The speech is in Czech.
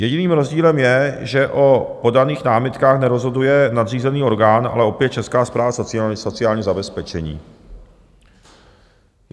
Jediným rozdílem je, že o podaných námitkách nerozhoduje nadřízený orgán, ale opět Česká správa sociálního zabezpečení.